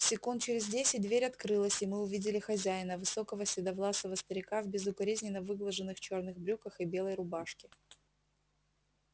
секунд через десять дверь открылась и мы увидели хозяина высокого седовласого старика в безукоризненно выглаженных чёрных брюках и белой рубашке